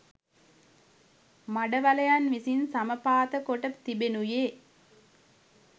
මඩවලයන් විසින් සමපාතකොට තිබෙනුයේ